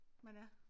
Men ja